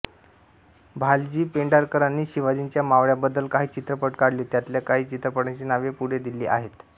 भालजी पेंढारकरांनी शिवाजीच्या मावळ्यांबद्दल काही चित्रपट काढले त्यांतल्या काही चित्रपटांची नावे पुढे दिली आहेत